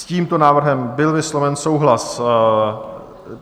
S tímto návrhem byl vysloven souhlas.